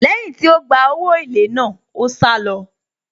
Lẹ́yìn tí ó gba owó èlé náà, ó sálọ.